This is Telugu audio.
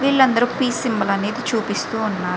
వీళ్ళు అందరు పి సింబల్ అనేది చూపిస్తూ ఉన్నారు.